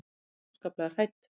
Ég er óskaplega hrædd.